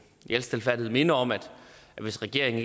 i al stilfærdighed minde om at hvis regeringen